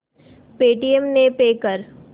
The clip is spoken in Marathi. पेटीएम ने पे कर